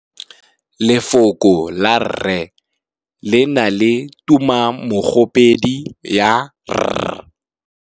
Lefoko la rre le na le tumammogôpedi ya, r.